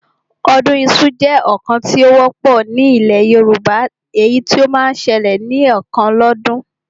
Ọdún iṣu jẹ́ ọdún kan tí ó wọ́pọ̀ ní ilẹ̀ Yorùbá, èyí tí ó máa ń ṣẹlẹ̀ ní ẹ̀kan lọ́dún